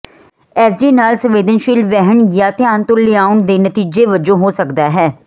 S D ਨਾਲ ਸੰਵੇਦਨਸ਼ੀਲ ਵਹਿਣ ਜਾਂ ਧਿਆਨ ਤੋਂ ਲਿਆਉਣ ਦੇ ਨਤੀਜੇ ਵਜੋਂ ਹੋ ਸਕਦਾ ਹੈ